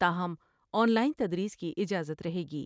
تا ہم online تدریس کی اجازت رہے گی ۔